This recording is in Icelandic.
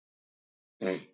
Skoðið það bara á netinu.